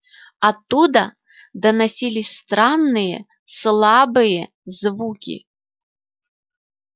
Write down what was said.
оттуда доносились странные слабые звуки